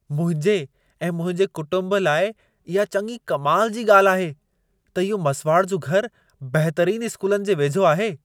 मुंहिंजे ऐं मुंहिंजे कुटुंब लाइ इहा चङी कमाल जी ॻाल्हि आहे, त इहो मसुवाड़ जो घरु बहितरीन स्कूलनि जे वेझो आहे।